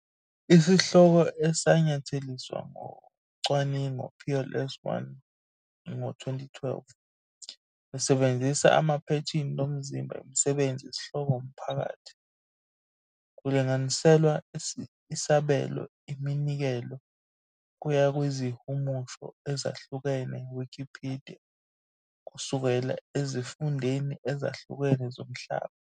Isihloko esanyatheliswa ngo yocwaningo PLoS ONE ngo-2012, besebenzisa amaphethini lomzimba imisebenzi isihloko omphakathi, kulinganiselwa isabelo iminikelo kuya kwizihumusho ezahlukene Wikipedia kusukela ezifundeni ezahlukene zomhlaba.